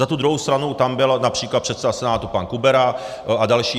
Za tu druhou stranu tam byl například předseda Senátu pan Kubera a další.